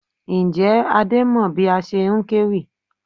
Ǹjẹ́ Adé mọ bí a ṣe ń kéwì?